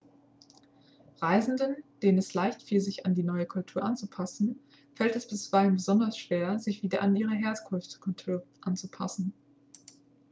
reisenden denen es leichtfiel sich an die neue kultur anzupassen fällt es bisweilen besonders schwer sich wieder an ihre herkunftskultur anzupassen